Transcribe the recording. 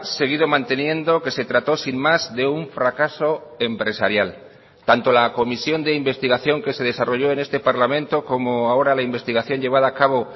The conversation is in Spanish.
seguido manteniendo que se trató sin más de un fracaso empresarial tanto la comisión de investigación que se desarrolló en este parlamento como ahora la investigación llevada a cabo